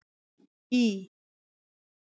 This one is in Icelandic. Í